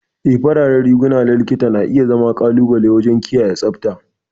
Ee, fararen riguna na Likita na iya zama ƙalubale waje kiyaye tsabta.